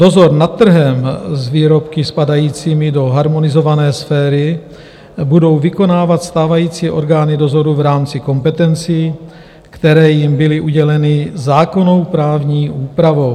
Dozor nad trhem s výrobky spadajícími do harmonizované sféry budou vykonávat stávající orgány dozoru v rámci kompetencí, které jim byly uděleny zákonnou právní úpravou.